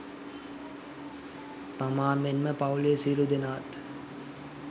තමා මෙන්ම පවුලේ සියලු දෙනාත්